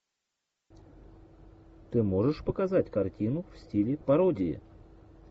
ты можешь показать картину в стиле пародии